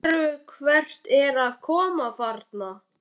Sérðu hver er að koma þarna?